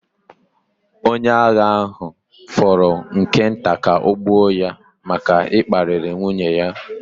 Onye agha ahụ fọrọ nke nta ka ọ gbuo ya maka ịkparị nwunye ya.